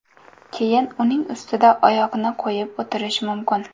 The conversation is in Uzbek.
Keyin uning ustida oyoqni qo‘yib o‘tirish mumkin.